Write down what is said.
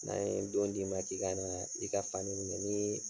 N'an ye don d'i ma k'i ka naa, i ka fani minɛ n'ii